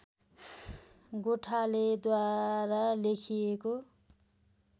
गोठालेद्वारा लेखिएको